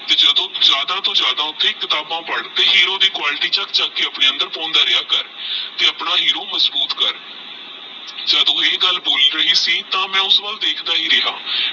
ਜਦੋ ਜਾਦਾ ਤੋਂ ਜਾਦਾ ਫਿਰ ਕਿਤਾਬਾ ਪੜਤੀ ਤੇ ਹੀਰੋ ਦੀ quality ਚਕ ਚਕ ਕੇ ਆਪਣੇ ਅੰਦਰ ਪਾਉਂਦਾ ਰਿਹਾ ਘਰ ਤੇ ਆਪਣਾ ਹੀਰੋ ਮਜਬੂਤ ਕਰ ਜਦੋ ਇਹ ਗੱਲ ਬੋਲ ਰਹੀ ਸੀ ਮੈ ਉਸ ਵੱਲ ਦੇਖ੍ਦ੍ਫਾ ਹੀ ਰਿਹਾ